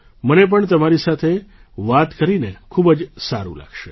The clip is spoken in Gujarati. મને પણ તમારી સાથ વાત કરીને ખૂબ જ સારું લાગશે